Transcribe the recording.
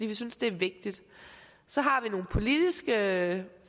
vi synes det er vigtigt så har vi nogle politiske